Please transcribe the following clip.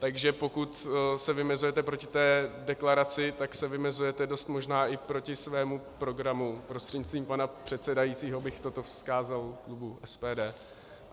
Takže pokud se vymezujete proti té deklaraci, tak se vymezujete dost možná i proti svému programu, prostřednictvím pana předsedajícího, bych toto vzkázal klubu SPD.